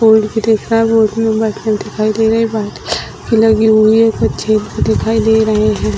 Board भी दिख रहा है बोर्ड में दिखाई दे रहे हैं भी लगी हुई है छेद भी दिखाई दे रहे हैं।